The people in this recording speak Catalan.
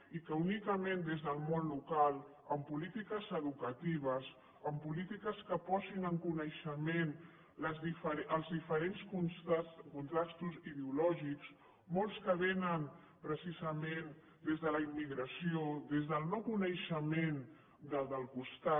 i que únicament des del món local amb polítiques educatives amb polítiques que posin en coneixement els diferents contrastos ideològics molts que vénen precisament des de la immigració des del no coneixement del del costat